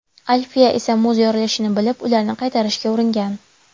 Alfiya esa muz yorilishini bilib, ularni qaytarishga uringan.